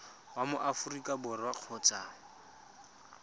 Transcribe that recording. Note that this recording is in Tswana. wa mo aforika borwa kgotsa